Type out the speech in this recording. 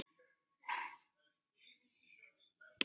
Nýir vindar?